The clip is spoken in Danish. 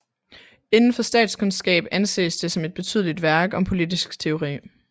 Indenfor statskundskab anses det som et betydelig værk om politisk teori